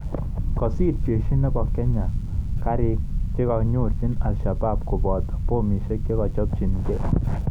Kasir jeshi chepo Kenya kariik chekonyorchi Alshabaab kopoto pomishek chekochopchin gei